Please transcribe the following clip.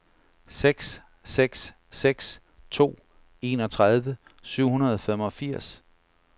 seks seks seks to enogtredive syv hundrede og femogfirs